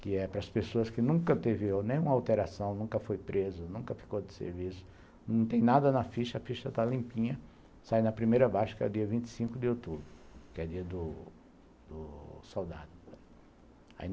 que é para as pessoas que nunca teve nenhuma alteração, nunca foi preso, nunca ficou de serviço, não tem nada na ficha, a ficha está limpinha, sai na primeira baixa que é dia vinte e cinco de outubro, que é dia do soldado.